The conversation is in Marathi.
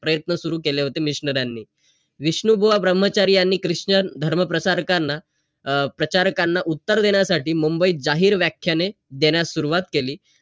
आणि तसंच जेव्हा तो शिकेल तेव्हा तो म्हणेल की या माणसाने मला शिकवलं .